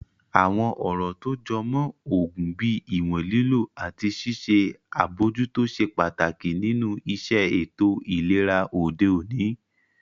Àwọn ọ̀rọ̀ tó jọ mọ́ oògùn bíi ìwọ̀n lílò àti ṣíṣe àbojútó ṣe pàtàkì nínu iṣẹ́ ètò ìlera òde òní